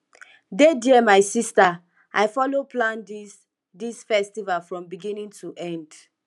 dey there my sister i follow plan dis dis festival from beginning to end